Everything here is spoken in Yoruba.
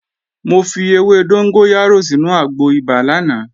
Mo fi ewé dóngóyárò sínu àgbo ibà lánàá